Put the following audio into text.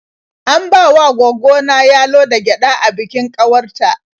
An bawa gwaggo ta yalo da gyaɗa a bikin ƙawar ta.